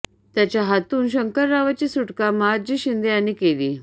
त्याच्या हातून शंकररावाची सुटका महादजी शिंदे यानीं केली